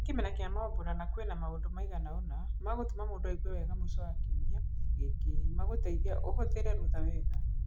Nĩ kĩmera kĩa mambura na kwĩna maũndũ maigana ũna magũtũma mũndũ aigue wega mwisho wa kiumia gĩkĩ magũteithia ũhũthĩre rũtha wega.